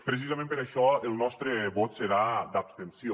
precisament per això el nostre vot serà d’abstenció